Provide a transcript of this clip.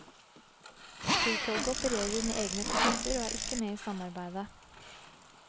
Flytoget opererer med egne takster og er ikke med i samarbeidet.